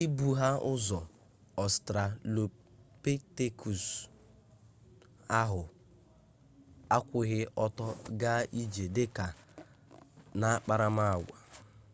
ndị bụ ha ụzọ ọstralopitekus ahụ akwụghị ọtọ gaa ije dị ka n'akparamagwa